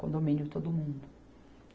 Condomínio todo mundo.